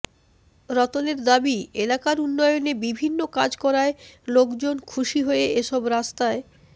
রতনের দাবি এলাকার উন্নয়নে বিভিন্ন কাজ করায় লোকজন খুশি হয়ে এসব রাস্তায়